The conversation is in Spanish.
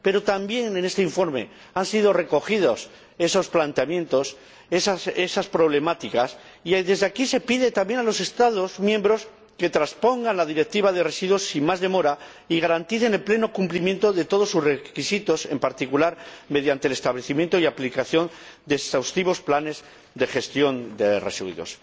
Pero también en este informe han sido recogidos esos planteamientos, esas problemáticas, y desde aquí se pide también a los Estados miembros que transpongan la Directiva de residuos sin más demora y garanticen el pleno cumplimiento de todos sus requisitos, en particular mediante el establecimiento y la aplicación de exhaustivos planes de gestión de residuos.